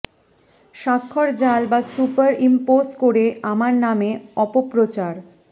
স্বাক্ষর জাল বা সুপার ইম্পোজ করে আমার নামে অপপ্রচার